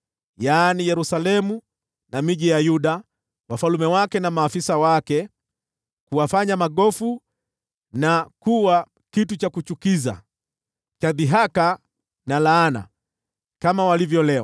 Yaani Yerusalemu na miji ya Yuda, wafalme wake na maafisa wake, kuwafanya magofu na kuwa kitu cha kuchukiza, cha dhihaka na laana, kama walivyo leo;